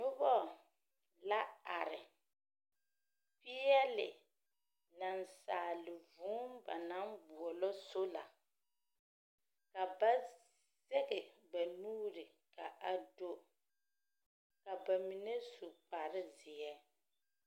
Nobɔ, la are, peɛle nansaale vũũ ba naŋ boɔlɔ sola. Ka ba zɛge ba nuuri ka a do, ka ba mine su kparezeɛ.